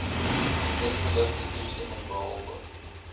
ingeligte toestemming behalwe